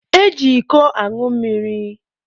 E ji iko añụ mmiri.